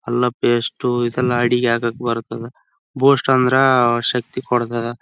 ಅಲ್ಲ ಸಾಮಾನು ಮನೇದು ಅಡಿಗೆದು ಸಾಮಾನು ಇದೆ. ಇಲ್ಲಿ ಹಾರ್ಲಿಕ್ಸ್ ದು ಪ್ಯಾಕೇಟು ಮ್ಯಾಗಿ ದು--